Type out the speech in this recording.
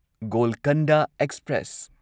Golconda express